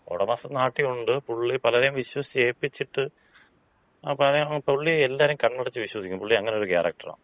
ഒടമസ്ഥൻ നാട്ടി ഒണ്ട്. പുള്ളി പലരെയും വിശ്വസിച്ച് ഏപ്പിച്ചിട്ട്, പുള്ളി എല്ലാരേം കണ്ണടച്ച് വിശ്വസിക്കും. പുള്ളി അങ്ങനൊരു ക്യാരക്ടറാണ്.